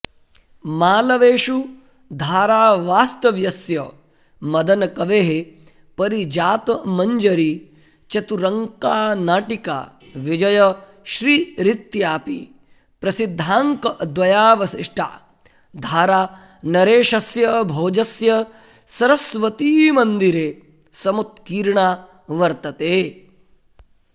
मालवेषु धारावास्तव्यस्य मदनकवेः पारिजातमञ्जरी चतुरङ्का नाटिका विजयश्रीरित्यपि प्रसिद्धाङ्कद्वयावशिष्टा धारानरेशस्य भोजस्य सरस्वतीमन्दिरे समुत्कीर्णा वर्तते